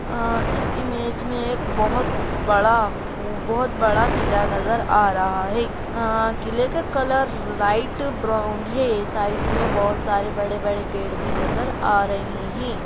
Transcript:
आ इस इमेज में एक बहुत बड़ा बहुत बड़ा किला नजर आ रहा है। आ किले का कलर लाइट ब्राउन है साइड में बहुत सारे बड़े-बड़े पेड़ भी नजर आ रहें हैं।